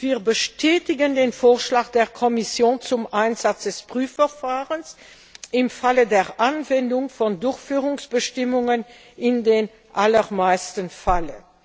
Wir bestätigen den Vorschlag der Kommission zum Einsatz des Prüfverfahrens im Falle der Anwendung von Durchführungsbestimmungen in den allermeisten Fällen.